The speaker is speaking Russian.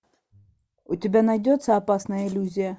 у тебя найдется опасная иллюзия